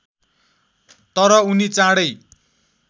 तर उनी चाँडै